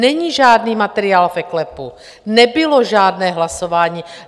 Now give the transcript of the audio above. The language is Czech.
Není žádný materiál v eKLEPu, nebylo žádné hlasování.